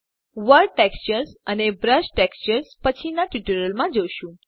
world textures અને brush textures પછીના tutorials માં જોશું